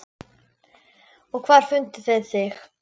Og hvar fundu þeir þig.